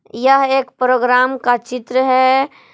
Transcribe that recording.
यह एक प्रोग्राम का चित्र है।